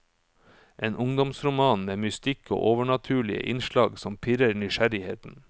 En ungdomsroman med mystikk og overnaturlige innslag som pirrer nysgjerrigheten.